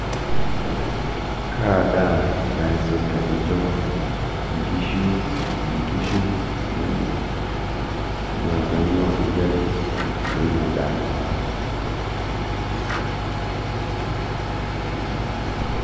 Kaa daa naisul tenincho nkishu inkishu inonok naa kanyioo igelu teina daa?